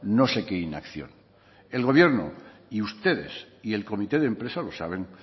no sé qúe inacción el gobierno ustedes y el comité de empresa lo saben